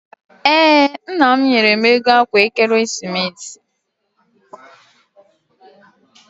Ee, nna m nyere m ego akwa ekeresimesi.